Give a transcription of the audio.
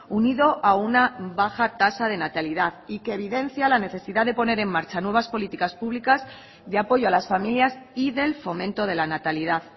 unido a una baja tasa de natalidad y que evidencia la necesidad de poner en marcha nuevas políticas públicas de apoyo a las familias y del fomento de la natalidad